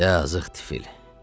Yazıq tifl.